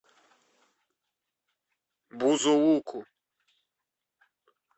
бузулуку